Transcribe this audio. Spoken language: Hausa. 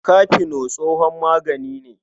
Kafeno tsohon magani ne.